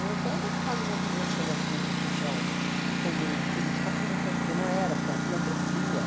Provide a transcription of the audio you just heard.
pa participava de movimentos pela assistência social como política pública, porque não era, porque é filantropia.